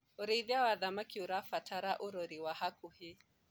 ũrĩithi wa thamakĩ ũrabatara urori wa hakuhi